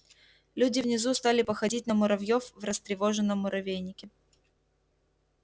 люди внизу стали походить на муравьёв в растревоженном муравейнике